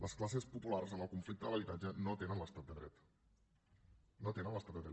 les classes populars en el conflicte de l’habitatge no tenen l’estat de dret no tenen l’estat de dret